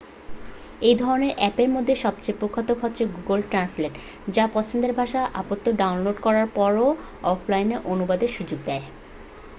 এই ধরণের আ্যপের মধ্যে সবচেয়ে প্রখ্যাত হচ্ছে গুগল ট্র্যান্সলেট যা পছন্দের ভাষার উপাত্ত ডাউনলোড করার পরে অফলাইন অনুবাদের সুযোগ দেয়